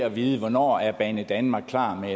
at vide hvornår er banedanmark klar